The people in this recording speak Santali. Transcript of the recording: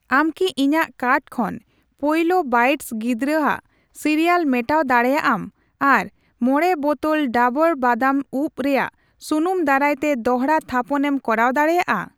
ᱟᱢ ᱠᱤ ᱤᱧᱟᱜ ᱠᱟᱨᱴ ᱠᱷᱚᱱ ᱯᱳᱭᱞᱳ ᱵᱟᱭᱤᱴᱥ ᱜᱤᱫᱽᱨᱟᱹᱭᱟᱜ ᱥᱤᱨᱤᱭᱟᱞ ᱢᱮᱴᱟᱣ ᱫᱟᱲᱮᱭᱟᱜ ᱟᱢ ᱟᱨ ᱢᱚᱲᱮ ᱵᱚᱛᱚᱞ ᱠᱚ ᱰᱟᱵᱩᱨ ᱵᱟᱫᱟᱢ ᱩᱵᱽ ᱨᱮᱭᱟᱜ ᱥᱩᱱᱩᱢ ᱫᱟᱨᱟᱭᱛᱮ ᱫᱚᱲᱦᱟ ᱛᱷᱟᱯᱚᱱᱮᱢ ᱠᱚᱨᱟᱣ ᱫᱟᱲᱮᱭᱟᱜᱼᱟ ᱾